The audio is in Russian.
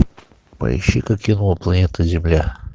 поищи ка кино планета земля